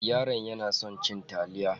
Yaron yana son cin taliya.